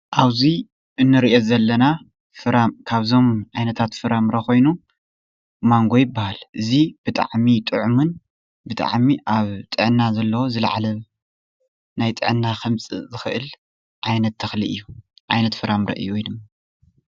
ኣብዚ እንርእዮ ዘለና ፍራም ካብዞም ዓይነታት ፍረ-ምረ ኮይኑ ማንጎ ይባሃል ። እዚ ብጣዕሚ ጥዑምን ብጣዕሚ ኣብ ጥዕና ዘለዎ ዝለዓለ ናይ ጥዕና ከምጽእ ዝኽእል ዓይነት ተኽሊ እዩ ዓይነት ፍራምረ ወይድማ እዩ ።